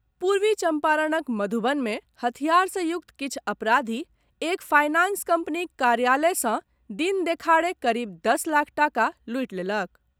पूर्वी चंपारणक मधुबन मे हथियार से युक्त किछु अपराधी एक फायनांस कंपनीक कार्यालय सॅ दिन देखाड़े करीब दस लाख टाका लूटि लेलक।